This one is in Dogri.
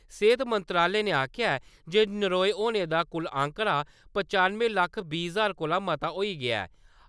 सेहत मंत्रालय नै आक्खेआ जे नरोए होने दा कुल आंकड़ा पचानुएं लक्ख बीह् हजार कोला मता होई गेआ ऐ ।